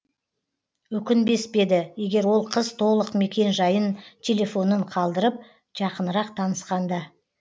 өкінбес пе еді егер ол қыз толық мекен жайын телефонын қалдырып жақынырақ танысқанда